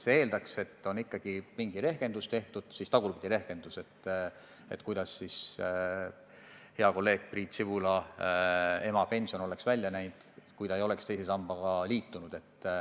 See eeldaks, et on ikkagi tehtud mingi rehkendus, kuidas siis hea kolleegi Priit Sibula ema pension oleks välja näinud, kui ta ei oleks teise sambaga liitunud.